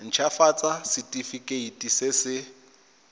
nt hafatsa setefikeiti se se